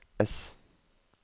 ess